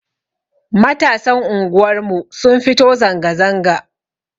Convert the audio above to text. Matasan unguwar mu sun fito zanga zanga